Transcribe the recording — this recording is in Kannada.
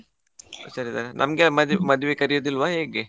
ಹುಷಾರ್ ಇದ್ದಾರೆ, ನಮ್ಗೆ ಮದ್~ ಮದ್ವೆಗೆ ಕರೆಯುದಿಲ್ವಾ ಹೇಗೆ?